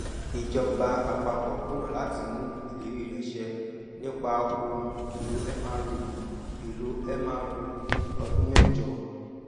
ìjọba àpapọ kùnà láti mú ìlérí rẹ ṣẹ nípa ohun èlò mro èlò mro ní ọdún mẹjọ